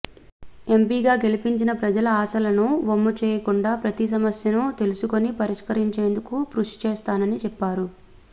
ఎంపీగా గెలిపించిన ప్రజల ఆశలను వమ్ముచేయకుండా ప్రతి సమస్యనూ తెలుసుకుని పరిష్కరించేందుకు కృషిచేస్తానని చెప్పారు